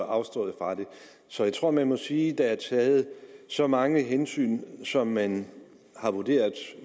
afstået fra det så jeg tror man må sige der er taget så mange hensyn som man har vurderet